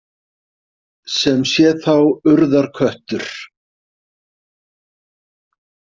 Sem sé þá Urðarköttur?